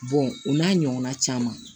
o n'a ɲɔgɔnna caman